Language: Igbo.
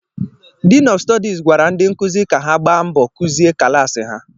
Diin ọf Stọdis gwara ndị nkụzi ka ha gbaa mbọ Kuzie kalasi ha